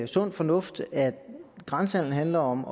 sund fornuft at grænsehandelen handler om